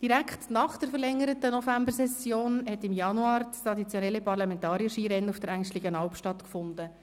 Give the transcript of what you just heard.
Direkt nach der verlängerten Novembersession hat im Januar das traditionelle ParlamentarierSkirennen auf der Engstligenalp stattgefunden.